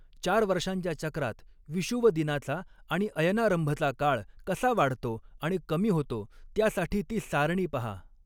चार वर्षांच्या चक्रात विषुवदिनाचा आणि अयनारंभचा काळ कसा वाढतो आणि कमी होतो त्यासाठी ती सारणी पहा.